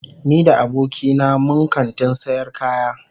Ni da abokina mun kantin sayar kaya.